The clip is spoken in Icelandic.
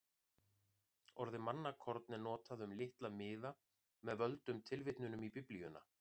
Orðið mannakorn er notað um litla miða með völdum tilvitnunum í Biblíuna.